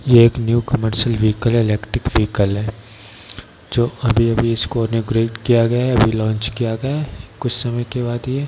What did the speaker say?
ये एक new commercial vehicle है इलेक्ट्रिक विहिकल है जो अभी अभी इसको किया गया है अभी लॉन्च किया गया है | कुछ समय के बाद ये --